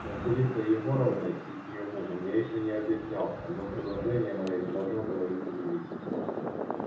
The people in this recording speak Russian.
с василисой егоровной и с её мужем я ещё не объяснялся но предложение моё не должно было их удивить